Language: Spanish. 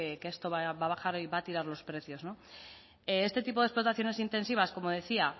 que esto va a bajar va a tirar los precios no este tipo de explotaciones intensivas como decía